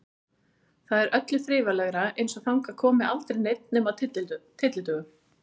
Þar er öllu þrifalegra, eins og þangað komi aldrei neinn nema á tyllidögum.